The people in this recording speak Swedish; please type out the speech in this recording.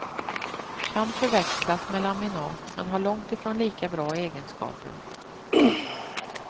Kan förväxlas med laminat, men har långt ifrån lika bra egenskaper.